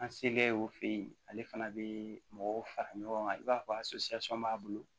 An selen o fɛ yen ale fana bɛ mɔgɔw fara ɲɔgɔn kan i b'a fɔ a b'a bolo